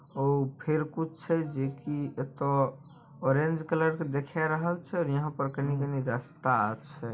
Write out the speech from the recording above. ओ फेर कुछ छै जे की ऑरेंज कलर के देखा रहल छै यहां पर कनीकनी रास्ता छै।